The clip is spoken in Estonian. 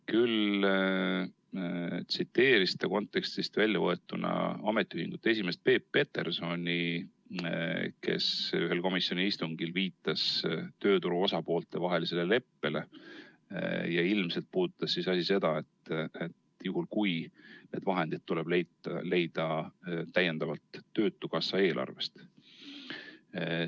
Küll tsiteeris ta kontekstist väljavõetuna Eesti Ametiühingute Keskliidu esimeest Peep Petersoni, kes ühel komisjoni istungil viitas tööturu osapoolte vahelisele leppele, ja ilmselt puudutas asi seda, et need vahendid tuleb leida täiendavalt töötukassa eelarvest.